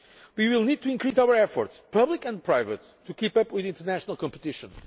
not. We will need to increase our efforts public and private to keep up with international competition.